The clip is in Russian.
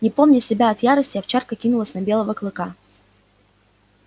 не помня себя от ярости овчарка кинулась на белого клыка